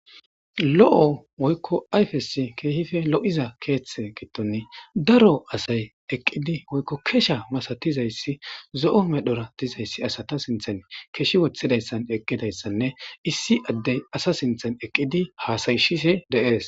Lo'o woykko ayfesi keehife lo7iza keeththe gitton daro asay eqqidi woykko kesha masatizayssi zo'o medhora dizayssi asata sinthan keshi wothidayssan eqqidayssanne issi addey asa sinthan eqqidi haasayshise deees.